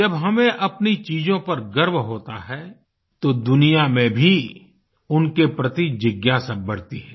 जब हमें अपनी चीजों पर गर्व होता है तो दुनिया में भी उनके प्रति जिज्ञासा बढती है